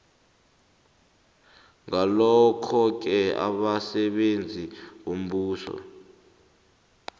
ngalokhoke abasebenzi bombuso